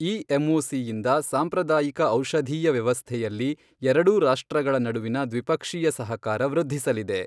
ಈ ಎಂಒಸಿಯಿಂದ ಸಾಂಪ್ರದಾಯಿಕ ಔಷಧೀಯ ವ್ಯವಸ್ಥೆಯಲ್ಲಿ ಎರಡೂ ರಾಷ್ಟ್ರಗಳ ನಡುವಿನ ದ್ವಿಪಕ್ಷೀಯ ಸಹಕಾರ ವೃದ್ಧಿಸಲಿದೆ.